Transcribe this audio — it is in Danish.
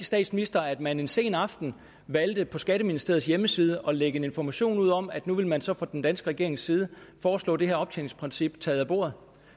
statsministeren at man en sen aften valgte på skatteministeriets hjemmeside at lægge en information ud om at nu ville man så fra den danske regerings side foreslå det her optjeningsprincip taget af bordet